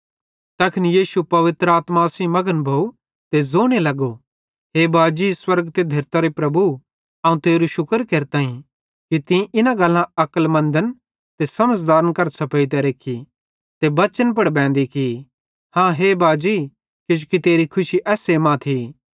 तैखन यीशु पवित्र आत्मा सेइं मघन भोवं ते ज़ोने लगो हे बाजी स्वर्गेरे त धेरतरे प्रभु अवं तेरू शुक्र केरताईं कि तीं इना गल्लां अक्लमन्द ते समझ़दारन करां छ़पेइतां रेख्खी ते बच्चन पुड़ बेंदी की हाँ हे बाजी किजोकि तेरी खुशी एस्से मां थी